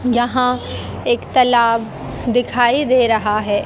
यहाँ एक तलाव दिखाई दे रहा है।